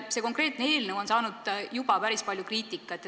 See konkreetne eelnõu on saanud juba päris palju kriitikat.